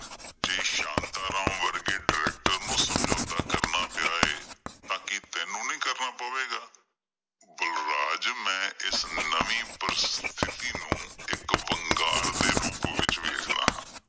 ਜੇ ਸ਼ਾਂਤਾ ਰਾਮਵਰਗੇ ਡਾਇਰੈਕਟਰ ਨੂੰ ਸਮਝੌਤਾ ਕਰਨਾ ਪਿਆ ਏ ਤਾਂ ਕੀ ਤੈਨੂੰ ਨਹੀਂ ਕਰਨਾ ਪਵੇਗਾ? ਬਲਰਾਜ ਮੈਂ ਇਸ ਨਵੀਂ ਪ੍ਰਸਤਿਥੀ ਨੂੰ ਇੱਕ ਵੰਗਾਰ ਦੇ ਰੂਪ ਵਿੱਚ ਵੇਖਦਾ ਹਾਂ।